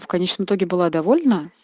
в конечном итоге была довольна